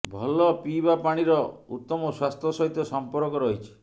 ଭଲ ପିଇବା ପାଣିର ଉତ୍ତମ ସ୍ୱାସ୍ଥ୍ୟ ସହିତ ସମ୍ପର୍କ ରହିଛି